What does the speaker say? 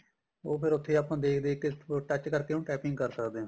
ਉਹ ਫੇਰ ਉਥੇ ਆਪਾਂ ਦੇਖ ਦੇਖ ਕੇ ਉਹ touch ਕਰਕੇ ਉਹਨੂੰ typing ਕਰ ਸਦਕੇ ਆ